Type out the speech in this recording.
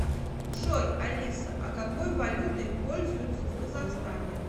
джой алиса а какой валютой пользуются в казахстане